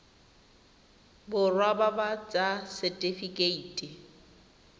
borwa ba ba ts setifikeite